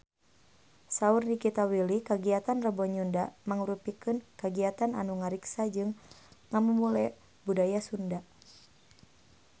Saur Nikita Willy kagiatan Rebo Nyunda mangrupikeun kagiatan anu ngariksa jeung ngamumule budaya Sunda